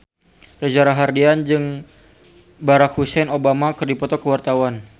Reza Rahardian jeung Barack Hussein Obama keur dipoto ku wartawan